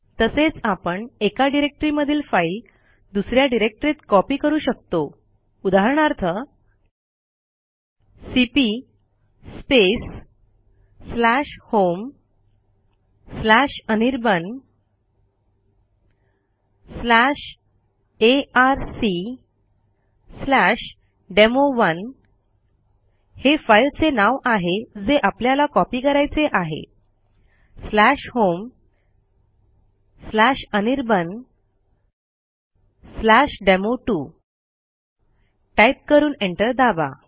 तसेच आपण एका डिरेक्टरीमधील फाईल दुस या डिरेक्टरीत कॉपी करू शकतो उदाहरणार्थ सीपी homeanirbanarcdemo1 homeanirbandemo2 टाईप करून एंटर दाबा